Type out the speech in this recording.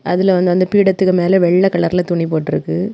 அதுலெ வந்து அந்த பீடத்துக்கு மேலெ வெள்ளை கலர்லெ துணி போட்டிருக்கு.